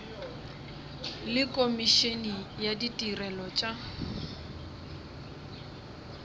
le komišene ya ditirelo tša